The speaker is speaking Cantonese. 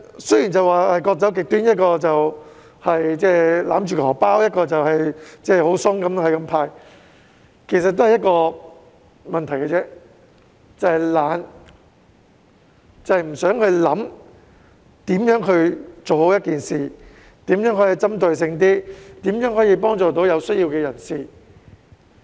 雖然各走極端，一方面是勒緊"荷包"，另一方面是"派錢"鬆手，但其實只有一個問題，就是懶，不願思考如何做好一件事，如何令政策更具針對性，如何可以幫助有需要的人等。